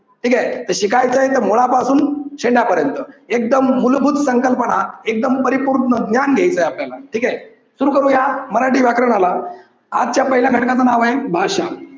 आता काय ठीक आहे तर शिकायचे तर मुळापासून शेंड्यापर्यंत एकदम मूलभूत संकल्पना एकदम परिपूर्ण ज्ञान घ्यायचंय आपल्याला ठीक आहे. सुरु करूया मराठी व्याकरणाला. आजच्या पहिल्या घटकाच नाव आहे भाषा.